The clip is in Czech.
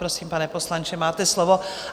Prosím, pane poslanče, máte slovo.